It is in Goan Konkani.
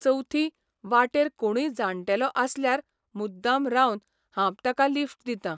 चवथी वाटेर कोणूय जाण्टेलो आसल्यार मुद्दाम रावन हांब ताका लिफ्ट दितां.